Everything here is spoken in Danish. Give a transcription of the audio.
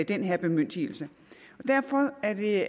den her bemyndigelse derfor er det